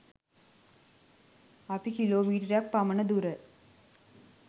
අපි කිලෝමීටරයක් පමණ දුර